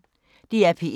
DR P1